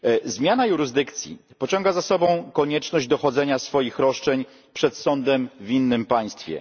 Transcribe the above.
Zmiana jurysdykcji pociąga za sobą konieczność dochodzenia swoich roszczeń przed sądem w innym państwie.